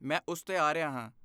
ਮੈਂ ਉਸ 'ਤੇ ਆ ਰਿਹਾ ਹਾਂ।